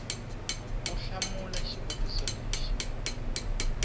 u hlamula xivutiso lexi xi